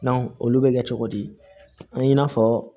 olu bɛ kɛ cogo di an na fɔ